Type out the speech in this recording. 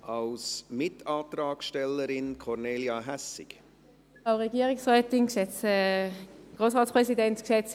Als Mitantragsstellerin spricht Kornelia Hässig.